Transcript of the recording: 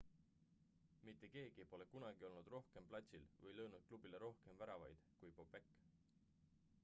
mitte keegi pole kunagi olnud rohkem platsil või löönud klubile rohkem väravaid kui bobek